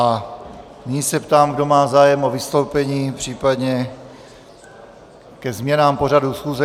A nyní se ptám, kdo má zájem o vystoupení, případně ke změnám pořadu schůze.